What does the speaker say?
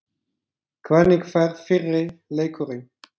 Hvernig fer fyrri leikurinn?